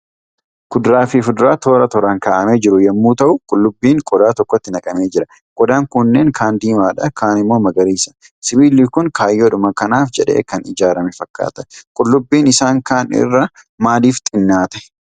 Kuduraa fi fuduraa toora tooran kaa'amee jiru yommuu ta'u, qullubbiin qodaa tokkotti naqamee jira. Qodaan kunneen kaan diimaadha. Kaan immoo magariisa. Sibiilli Kun kaayyoodhuma kanaaf jedhee kan ijaarame fakkaata. Qullubbiin isaan kaan irra maalif xinnaate?